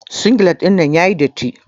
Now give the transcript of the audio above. Singilet ɗinnan yayi datti.